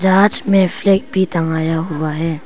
जहाज में फ्लैग भी टंगाया हुआ है।